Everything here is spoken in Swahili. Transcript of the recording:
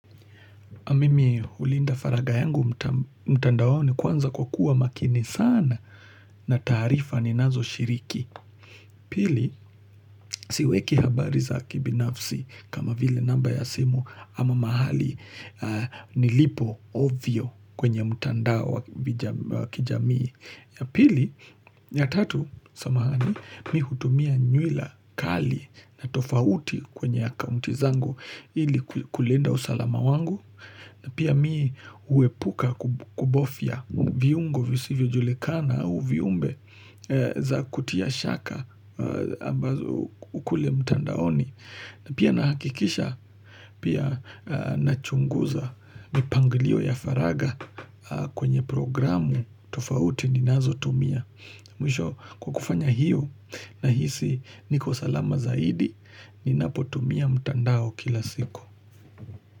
Mimi hulinda faragha yangu mtandaoni kwanza kwa kuwa makini sana na taarifa ni nazo shiriki. Pili, siweki habari za kibinafsi kama vile namba ya simu ama mahali nilipo ovyo kwenye mtandao wakijamii. Pili, ya tatu samahani mimi hutumia nywila kali na tofauti kwenye akaunti zangu ili kulinda usalama wangu. Pia mimi huepuka kubofya viungo visivyo julikana au viumbe za kutia shaka ambazo kule mtandaoni. Na pia na hakikisha pia na chunguza mipangilio ya faragha kwenye programu tofauti ninazo tumia. Mwisho kukufanya hiyo nahisi niko salama zaidi ninapo tumia mtandao kila siku.